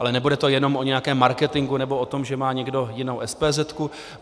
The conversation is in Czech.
Ale nebude to jenom o nějakém marketingu nebo o tom, že má někdo jinou SPZ.